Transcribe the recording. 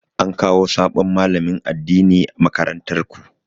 An kawo sabon malamin addini makarantar ku?